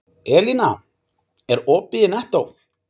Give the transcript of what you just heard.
Elína, er opið í Nettó?